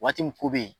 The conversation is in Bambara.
Waati min ko be yen